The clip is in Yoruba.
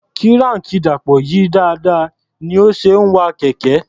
Kíráànkì Dàpọ̀ yí dáadáa ní ó ṣe ń wa kẹ̀kẹ́.